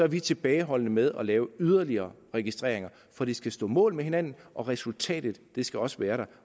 vi tilbageholdende med at lave yderligere registreringer for de skal stå mål med hinanden og resultatet skal også være der